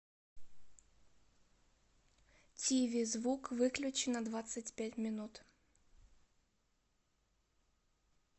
тиви звук выключи на двадцать пять минут